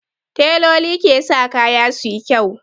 Tailoli ke sa kaya suyi kyau